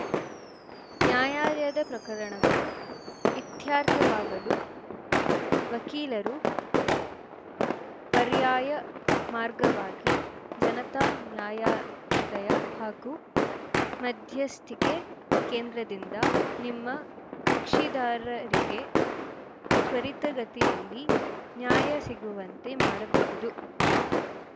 ನ್ಯಾಯಾಲಯದ ಪ್ರಕರಣಗಳು ಇತ್ಯರ್ಥವಾಗಲು ವಕೀಲರು ಪರ್ಯಾಯ ಮಾರ್ಗವಾಗಿ ಜನತಾ ನ್ಯಾಯಾಲಯ ಹಾಗೂ ಮಧ್ಯಸ್ಥಿಕೆ ಕೇಂದ್ರದಿಂದ ನಿಮ್ಮ ಕಕ್ಷಿದಾರರಿಗೆ ತ್ವರಿತಗತಿಯಲ್ಲಿ ನ್ಯಾಯ ಸಿಗುವಂತೆ ಮಾಡಬಹುದು